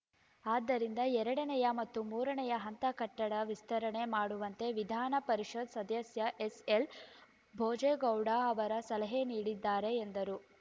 ಆದ್ದರಿಂದ ಎರಡನೇಯ ಮತ್ತು ಮೂರನೇಯ ಹಂತ ಕಟ್ಟಡ ವಿಸ್ತರಣೆ ಮಾಡುವಂತೆ ವಿಧಾನ ಪರಿಷತ್‌ ಸದಸ್ಯ ಎಸ್‌ಎಲ್‌ ಭೋಜೇಗೌಡ ಅವರ ಸಲಹೆ ನೀಡಿದ್ದಾರೆ ಎಂದರು